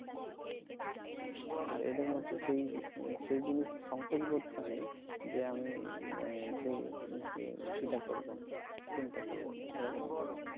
এদের মধ্যে সেই সেই সঙ্কোচবোধ টা নেই যে আমি সেই সিন টা করবো না এরকম একটা ব্যাপার